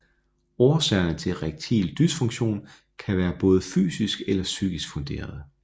Årsagerne til erektil dysfunktion kan være både fysisk eller psykisk funderede